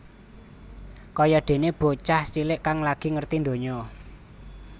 Kaya déné bocah cilik kang lagi ngerti ndonya